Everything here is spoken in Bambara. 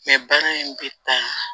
bana in bɛ taa